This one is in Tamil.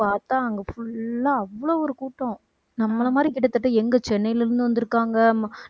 போய் பார்த்தா அங்க full ஆ அவ்ளோ ஒரு கூட்டம் நம்மள மாதிரி கிட்டத்தட்ட எங்க சென்னையில இருந்து வந்திருக்காங்க